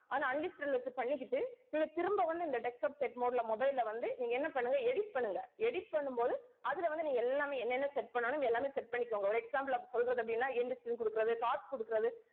வச்சு பண்ணிக்கிட்டு நீங்க திரும்ப வந்து இந்த desktop set mode ல mobile ல வந்து நீங்க என்ன பண்ணுங்க edit பண்ணுங்க edit பண்ணும் போது அதுல வந்து நீங்க எல்லாமே என்னென்ன set பண்ணனும் எல்லாமே set பண்ணிக்கோங்க. ஒரு example அப்படி சொல்றது அப்படின்னா கொடுக்கிறது, cards கொடுக்கிறது